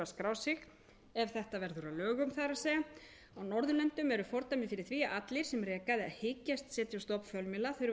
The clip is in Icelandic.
skrá sig það er ef þetta verður að lögum á norðurlöndum eru fordæmi fyrir því að allir sem reka eða hyggjast setja